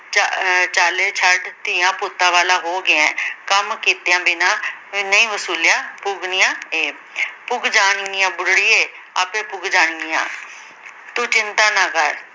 ਚਾ ਅਹ ਚਾਲੇ ਛੱਡ ਧੀਆਂ ਪੁੱਤਾਂ ਵਾਲਾ ਹੋ ਗਿਆ ਏਂ ਕੰਮ ਕੀਤਿਆਂ ਬਿਨਾ ਨਈ ਵਸੂਲਿਆ ਪੁੱਗਣੀਆਂ ਇਹ ਪੁੱਗ ਜਾਣਗੀਆਂ ਬੁਢੜੀਏ ਆਪੇ ਪੁੱਗ ਜਾਣਗੀਆਂ ਤੂੰ ਚਿੰਤਾ ਨਾ ਕਰ